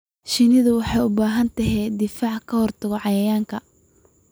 Shinnidu waxay u baahan tahay difaac ka hortagga cayayaanka.